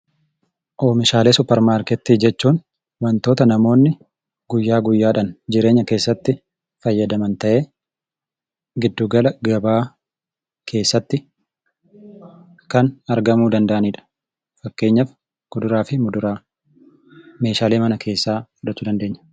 Oomishaalee suppermaarkettii jechuun wantoota namoonni guyyaa guyyaadhaan jireenya keessatti fayyadaman ta'ee, giddu gala gabaa keessatti kan argamuu danda'ani dha. Fakkeenyaaf, kuduraa fi muduraa, meeshaalee mana keessaa fudhachuu dandeenya.